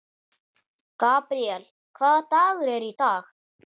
Gabríel, hvaða dagur er í dag?